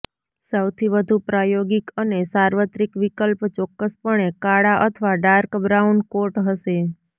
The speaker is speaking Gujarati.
સૌથી વધુ પ્રાયોગિક અને સાર્વત્રિક વિકલ્પ ચોક્કસપણે કાળા અથવા ડાર્ક બ્રાઉન કોટ હશે